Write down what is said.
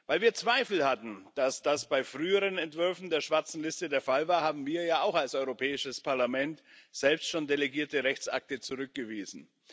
Weil wir Zweifel hatten, dass das bei früheren Entwürfen der schwarzen Liste der Fall war, haben wir ja auch als Europäisches Parlament selbst schon delegierte Rechtsakte zurückgewiesen.